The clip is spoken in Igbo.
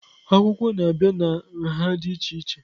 Akwụkwọ na-abịa na nha dị iche iche.